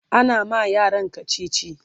ana ma yaran kachichi